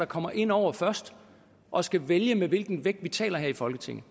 kommer ind over først og skal vælge med hvilken vægt vi taler her i folketinget